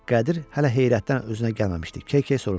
Qədir hələ heyrətdən özünə gəlməmişdi, keykey soruşdu.